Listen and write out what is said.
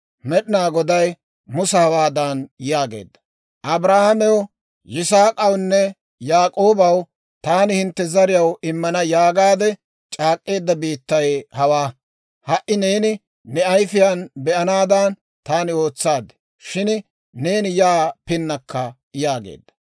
Med'inaa Goday Musa hawaadan yaageedda; «Abrahaamew Yisaak'awunne Yaak'oobaw, ‹Taani hintte zariyaw immana› yaagaade c'aak'k'eedda biittay hawaa. Ha"i neeni ne ayifiyaan be'anaadan taani ootsaad; shin neeni yaa pinnakka» yaageedda.